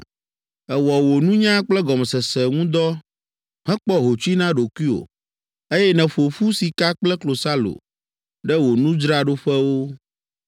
Èwɔ wò nunya kple gɔmesese ŋu dɔ hekpɔ hotsui na ɖokuiwò, eye nèƒo ƒu sika kple klosalo ɖe wò nudzraɖoƒewo.